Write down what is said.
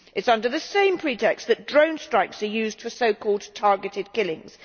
It is under the same pretext that drone strikes are used for so called targeted killings.